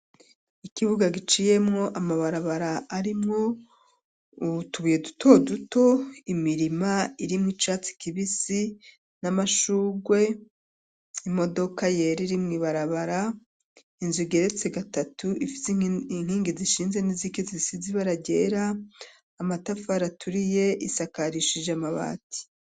Ikibuga giciyemwo amabarabara arimwo utubuye dutoduto, imirima irimwo icatsi kibisi n'amashurwe; imodoka yera iri mw'ibarabara; inzu igeretse gatatu ifise inkingi zishinze n'iz'inkingi zisize ibara ryera; amatafari aturiye; isakarishije amabati.